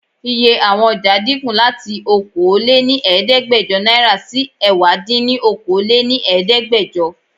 Iye àwọn ọ̀jà dínkù láti Okòó lé ní Ẹ̀ẹ́dẹ́gbẹjọ náírà sì ẹwà din ni Okòó lé ní Ẹ̀ẹ́dẹ́gbẹjọ.